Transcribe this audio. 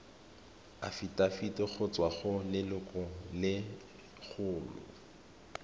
afitafiti go tswa go lelokolegolo